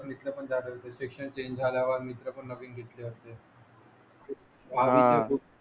शिक्षण चेंज झाल्या वर